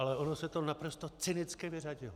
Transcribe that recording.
Ale ono se to naprosto cynicky vyřadilo.